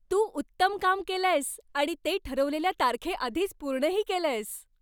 तू उत्तम काम केलंयस आणि ते ठरवलेल्या तारखेआधीच पूर्णही केलंयस.